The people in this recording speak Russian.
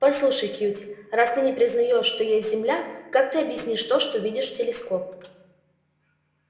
послушай кьюти раз ты не признаешь что есть земля как ты объяснишь то что видишь в телескоп